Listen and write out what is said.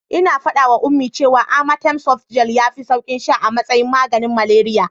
Ina faɗawa Ummi cewa amatem softgel yafi sauki sha a matsayin maganin malariya.